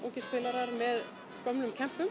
ungir spilarar með gömlum